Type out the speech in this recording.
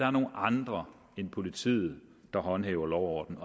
er nogle andre end politiet der håndhæver lov og orden